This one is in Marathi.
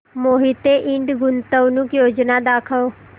मोहिते इंड गुंतवणूक योजना दाखव